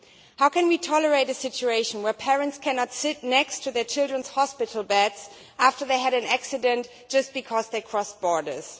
How can we tolerate a situation where parents cannot sit next to their children's hospital beds after they have had an accident, just because they have crossed borders?